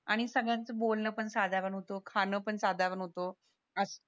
आणि सगळ्याच बोलणं पण साधारण होत खाण पण साधारण होत